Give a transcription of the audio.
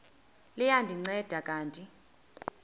liya ndinceda kanti